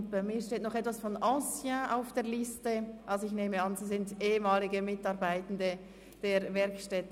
Auf meiner Notiz steht das Wort «anciens», sodass ich annehme, es seien ehemalige Mitarbeitende der Werkstätten.